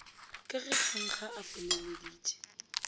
ka ge kgankga a feleleditše